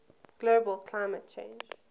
global climate change